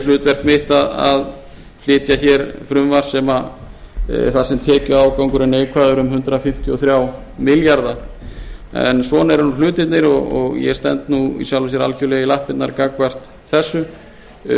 hlutverk mitt að flytja frumvarp þar sem tekjuafgangur er neikvæður um hundrað fimmtíu og þrjá milljarða en svona eru hlutirnir og ég stend í sjálfu sér algerlega í lappirnar gagnvart þessu